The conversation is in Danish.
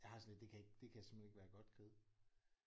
Jeg har det sådan lidt det kan ikke det kan simpelthen ikke være godt kød